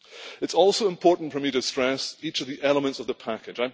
It is also important for me to stress each of the elements of the package.